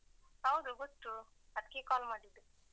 ಹೌದು ಗೊತ್ತು ಅದಕ್ಕೆ call ಮಾಡಿದ್ದು.